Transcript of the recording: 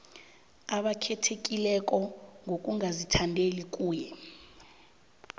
abakhethekileko ngokungazithandeli kuye